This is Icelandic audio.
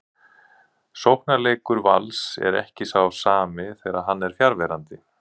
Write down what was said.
Sóknarleikur Vals er ekki sá sami þegar hann er fjarverandi.